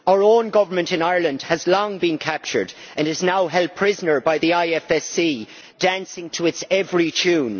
Our own government in Ireland has long been captured and is now held prisoner by the IFSC, dancing to its every tune.